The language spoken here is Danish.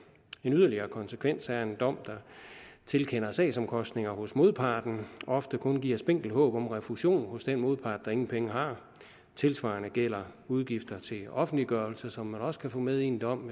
en yderligere konsekvens af en dom der tilkender sagsomkostninger hos modparten og ofte kun giver spinkelt håb om refusion hos den modpart der ingen penge har tilsvarende gælder udgifter til offentliggørelse som man også kan få med i en dom